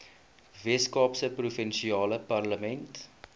weskaapse provinsiale parlement